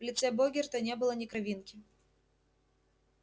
в лице богерта не было ни кровинки